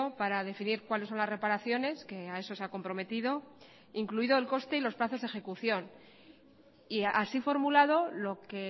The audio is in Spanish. para definir cuáles son las reparaciones que a eso se ha comprometido incluido el coste y los plazos de ejecución y así formulado lo que